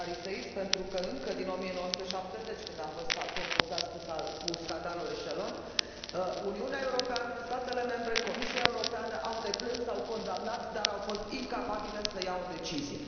de fariseism, pentru că, încă din 1970, când am fost confruntați cu scandalul Echelon, Uniunea Europeană, statele membre, Comisia Europeană au deplâns, au condamnat, dar au fost incapabile să ia o decizie.